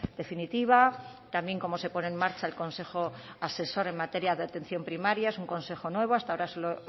definitiva también cómo se pone en marcha el consejo asesor en materia de atención primaria es un consejo nuevo hasta ahora solo